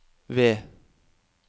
V